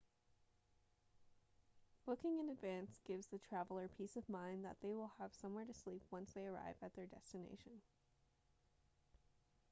booking in advance gives the traveller peace of mind that they will have somewhere to sleep once they arrive at their destination